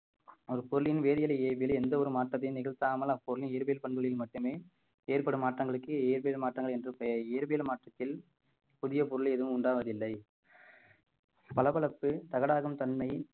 ஒரு பொருளின் வேதியியலை இயற்பியலே எந்த ஒரு மாற்றத்தையும் நிகழ்த்தாமல் அப்பொருள் இயற்பியல் பண்புகளில் மட்டுமே ஏற்படும் மாற்றங்களுக்கு இயற்பியல் மாற்றங்கள் என்றும் பெயர் இயற்பியல் மாற்றத்தில் புதிய பொருள் எதுவும் உண்டாவதில்லை பளபளப்பு தகடாகும் தன்மை